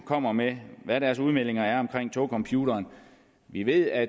kommer med hvad deres udmeldinger er om togcomputeren vi ved at